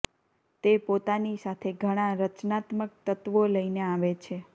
તે પોતાની સાથે ઘણા રચનાત્મક તત્વો લઈને આવે છે